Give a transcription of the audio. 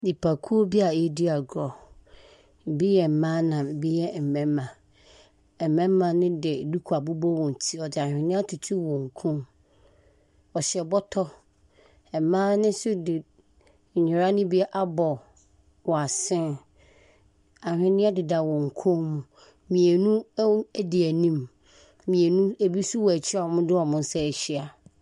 Nnipakuo bi a yɛredi agorɔ. Bi yɛ mmaa na bi yɛ mmarima. Mmarima no de duku abobɔ wɔn ti na wɔde anweneɛ atoto wɔn kɔn mu. Wɔhyɛ bɔtɔ. Mmaa no nso de nnwera no bi abɔ w'asen. Anhwenneɛ deda wɔn koom. Mmienu di anim. Mmienu, ebi nso di akyi a wɔde wɔn nsa ahyia.